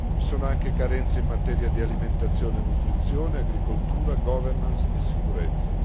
Vi sono inoltre carenze in materia di alimentazione e nutrizione, agricoltura, governance e sicurezza.